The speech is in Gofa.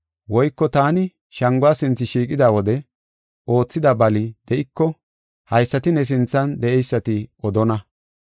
Woyko taani shanguwa sinthe shiiqida wode oothida bali de7iko haysati ne sinthan de7eysati odonna.